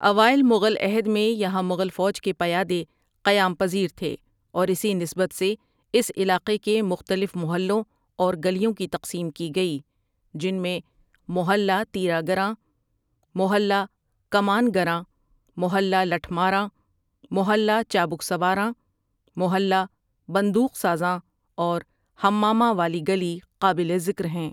اوائل مغل عہد میں یہاں مغل فوج کے پیادے قیام پزیر تھے اور اسی نسبت سے اس علاقے کے مختلف محلوں اور گلیوں کی تقسیم کی گئی جن میں محلہ تیرا گراں، محلہ کماںگراں، محلہ لٹھ ماراں، محلہ چابک سواراں، محلہ بندوق سازاں اور حماماں والی گلی قابل ذکر ہیں ۔